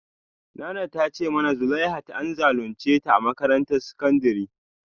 Nana ta ce mana zuleihat an zalunce ta a makarantar sakandare